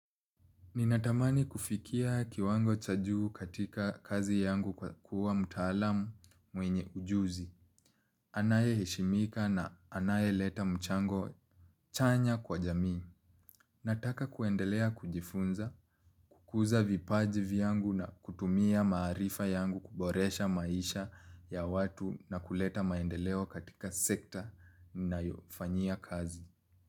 Ninatamani kufikia kiwango cha juu katika kazi yangu kwa kuwa mtaalamu mwenye ujuzi. Anayeheshimika na anayeleta mchango chanya kwa jamii. Nataka kuendelea kujifunza, kukuza vipaji vyangu na kutumia maarifa yangu kuboresha maisha ya watu na kuleta maendeleo katika sekta nayofanyia kazi.